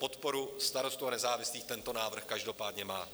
Podporu Starostů a nezávislých tento návrh každopádně má.